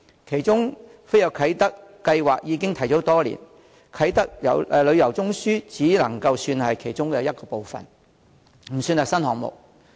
當中"飛躍啟德"計劃已提出多年，"啟德旅遊中樞"只能算是其中一部分，不算是新項目。